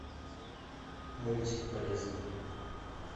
мультик полезный